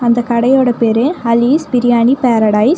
இந்த கடையோட பேரு அலீஸ் பிரியாணி பேரடைஸ் .